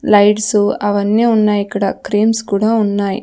Lights అవన్నీ ఉన్నాయిక్కడ creams కూడా ఉన్నాయి.